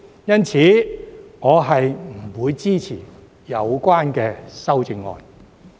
因此，我不會支持有關的修正案。